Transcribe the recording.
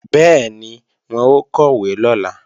Bẹ́ẹ̀ni, wọn ó kọ̀wé lọ́la